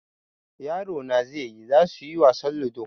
yaro na zaiyi zasuyi wasan ludo